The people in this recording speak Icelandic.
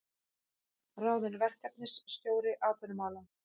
Ráðinn verkefnisstjóri atvinnumála